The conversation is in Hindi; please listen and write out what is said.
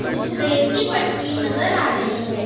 कुछ रेल की पटरी नजर आ रही है।